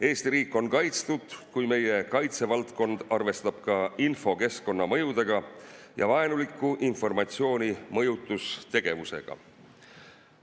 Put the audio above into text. Eesti riik on kaitstud, kui meie kaitsevaldkond arvestab ka infokeskkonna mõjudega ja vaenuliku informatsiooni mõjutustegevusega.